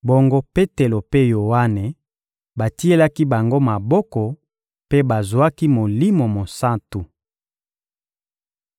Bongo, Petelo mpe Yoane batielaki bango maboko, mpe bazwaki Molimo Mosantu.